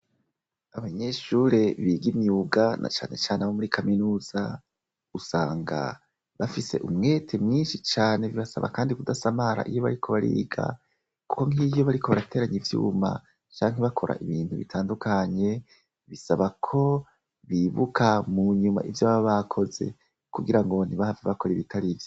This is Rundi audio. Abanyeshure biga imyuga na canecane abo muri kaminuza, usanga bafise umwete mwinshi cane, birasaba kandi kudasamara iyo bariko bariga, kuko nk'iyo bariko barateranya ivyuma, canke bakora ibintu bitandukanye, bisaba ko bibuka mu nyuma ivyo baba bakoze, kugira ngo ntibahave bakora ibitari vyo.